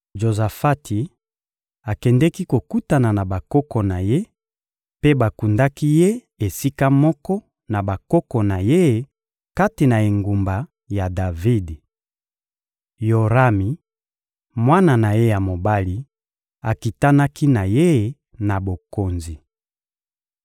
Jozafati akendeki kokutana na bakoko na ye, mpe bakundaki ye esika moko na bakoko na ye kati na engumba ya Davidi. Yorami, mwana na ye ya mobali, akitanaki na ye na bokonzi.